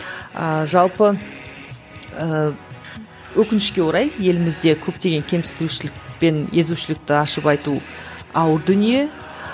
ыыы жалпы ыыы өкінішке орай елімізде көптеген кемсітушілік пен езушілікті ашып айту ауыр дүние